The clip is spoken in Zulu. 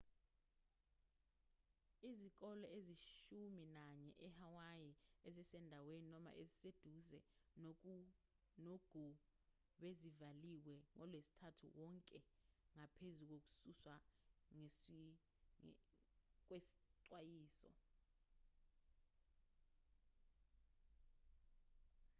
izikole eziyishumi nanye ehawaii ezisendaweni noma eziseduze nogu bezivaliwe ngolwesithathu wonke nangaphezu kokususwa kwesixwayiso